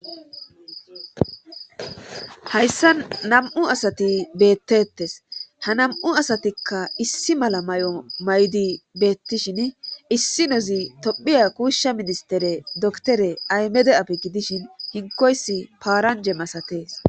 Hayssa nam7u asati beettettes ha nam7u asatikka issi mala may7o maydi beettishin issi nozi tophiya kuushsha ministere doktore aymede apegi dishin hinkoys paaranje masatees.